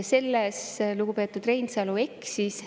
Selles lugupeetud Reinsalu eksis.